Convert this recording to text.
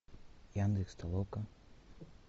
яндекс толока